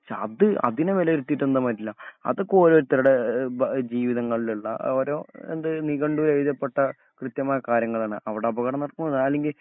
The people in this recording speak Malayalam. അത്അതിനെവിലായിരിത്തീട്ട് അതൊക്കെ ഓരോരുത്തരുടെ ഭ ജീവിതങ്ങളിലുള്ള ആ ഓരോഎന്തു നിഘണ്ടുവിലെഴുതപ്പെട്ട കൃത്യമായ കാര്യങ്ങളാണ്. അവിടെ അപകടം നടക്കുവാ അല്ലങ്കിൽ